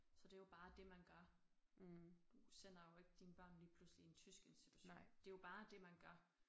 Så det jo bare det man gør. Du sender jo ikke dine børn lige pludselig i en tysk institution det jo bare det man gør